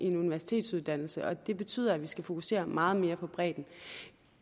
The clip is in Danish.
en universitetsuddannelse og det betyder at man skal fokusere meget mere på bredden